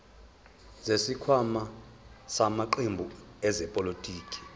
zesikhwama samaqembu ezepolitiki